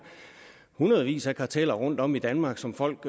hundredvis af karteller rundtom i danmark som folk